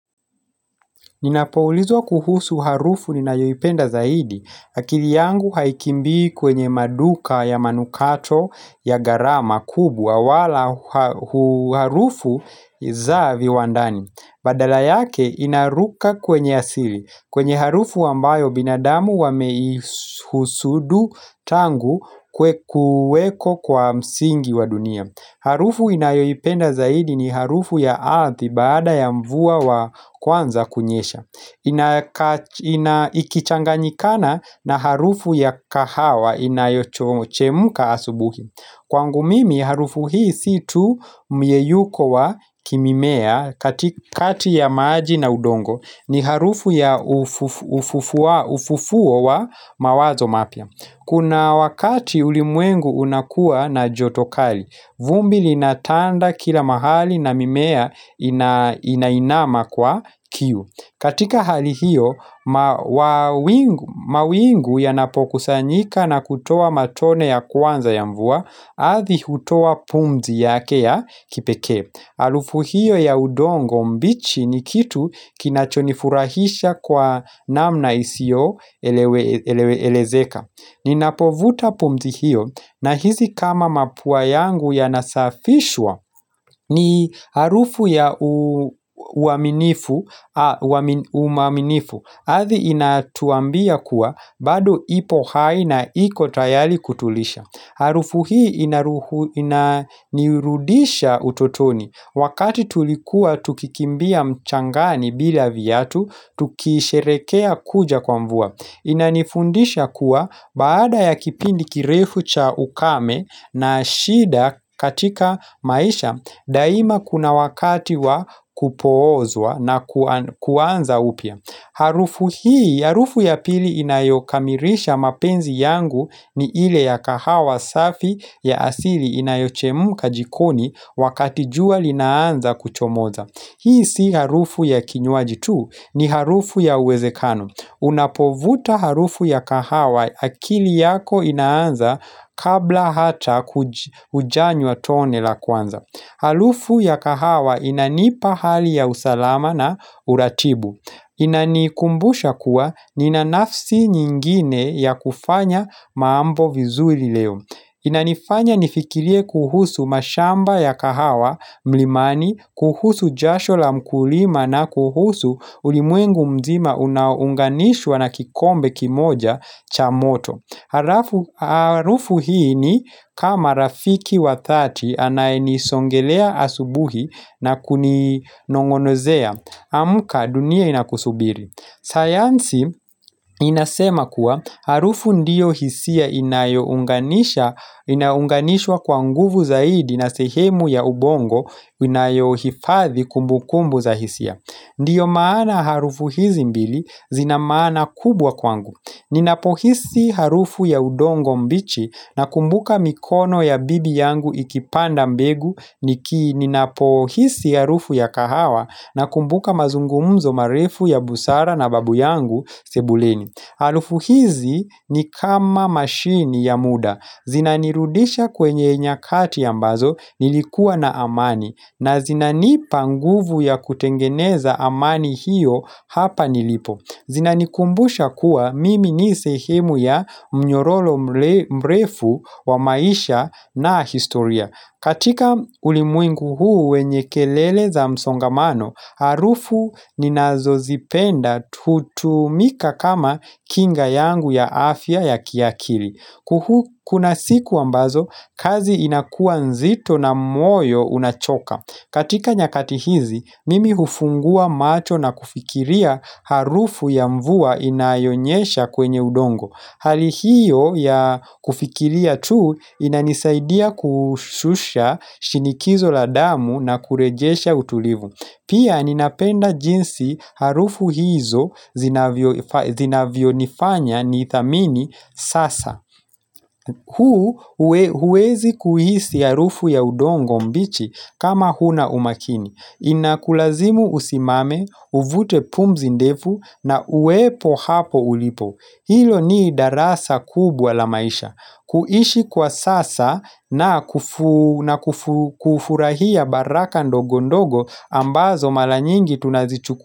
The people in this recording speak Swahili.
Ninapoulizwa kuhusu harufu ni nayoipenda zaidi, akili yangu haikimbi kwenye maduka ya manukato ya gharama kubwawala harufu za viwandani. Badala yake inaruka kwenye asili, kwenye harufu ambayo binadamu wameihusudu tangu kuweko kwa msingi wa dunia. Harufu inayoipenda zaidi ni harufu ya ardhi baada ya mvua wa kwanza kunyesha ikichanganyikana na harufu ya kahawa inayo chemka asubuhi Kwangu mimi harufu hii siitu myeyuko wa kimimea katikati ya maji na udongo ni harufu ya ufufuo wa mawazo mapya Kuna wakati ulimwengu unakua na jotokali, vumbi linatanda kila mahali na mimea inainama kwa kiu. Katika hali hiyo, mawingu yanapokusanyika na kutoa matone ya kwanza ya mvua, ardhi hutoa pumzi yake ya kipekee. Harufu hiyo ya udongo mbichi ni kitu kinachonifurahisha kwa namna isiyo elewe elezeka. Ninapovuta pumzi hiyo na hisi kama mapua yangu ya nasafishwa ni harufu ya uaminifu, ardhi inatwambia kuwa bado ipo hai na ikotayari kutulisha. Harufu hii inaruhu ina nirudisha utotoni wakati tulikuwa tukikimbia mchangani bila viatu tukisherehekea kuja kwa mvua Inanifundisha kuwa baada ya kipindi kirefu cha ukame na shida katika maisha daima kuna wakati wa kupoozwa na kuanza upya Harufu hii, harufu ya pili inayokamilisha mapenzi yangu ni ile ya kahawa safi ya asili inayochemka jikoni wakatijua linaanza kuchomoza. Hii si harufu ya kinywaji tuu, ni harufu ya uwezekano. Unapovuta harufu ya kahawa akili yako inaanza kabla hata hujanywa tone la kwanza. Harufu ya kahawa inanipa hali ya usalama na uratibu. Inanikumbusha kuwa nina nafsi nyingine ya kufanya mambo vizuri leo Inanifanya nifikirie kuhusu mashamba ya kahawa mlimani kuhusu jashola mkulima na kuhusu ulimwengu mzima unaounganishwa na kikombe kimoja cha moto Harufu hii ni kama rafiki wa dhati anayenisongelea asubuhi na kuninong'onozea amka dunia inakusubiri. Sayansi inasema kuwa harufu ndiyo hisia inayo unganisha inayounganishwa kwa nguvu zaidi na sehemu ya ubongo inayo hifathi kumbu kumbu za hisia. Ndiyo maana harufu hizi mbili zina maana kubwa kwangu. Ninapohisi harufu ya udongo mbichi na kumbuka mikono ya bibi yangu ikipanda mbegu niki ninapohisi harufu ya kahawa na kumbuka mazungumzo marefu ya busara na babu yangu sebuleni. Harufu hizi ni kama mashini ya muda. Zinanirudisha kwenye nyakati ambazo nilikuwa na amani na zinanipa nguvu ya kutengeneza amani hiyo hapa nilipo. Zinanikumbusha kuwa mimi nisehemu ya mnyororo mrefu wa maisha na historia. Katika ulimwengu huu wenye kelele za msongamano, harufu ninazo zipenda hutumika kama kinga yangu ya afya ya kiakili. Kuhu kuna siku ambazo, kazi inakuwa nzito na moyo unachoka. Katika nyakati hizi, mimi hufungua macho na kufikiria harufu ya mvua inayonyesha kwenye udongo. Hali hiyo ya kufikiria tu inanisaidia kushusha shinikizo la damu na kurejesha utulivu. Pia ninapenda jinsi harufu hizo zinavyo nifanya ni thamini sasa. Huu huwezi kuhisi harufu ya udongo mbichi kama huna umakini Inakulazimu usimame, uvute pumzi ndefu na uwepo hapo ulipo Hilo ni darasa kubwa la maisha kuishi kwa sasa na kufurahia baraka ndogo ndogo ambazo maranyingi tunazichuku.